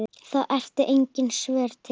þá eru engin svör til.